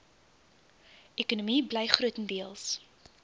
ekonomie bly grotendeels